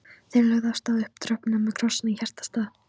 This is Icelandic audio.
Þeir lögðu af stað upp tröppurnar með krossana í hjartastað.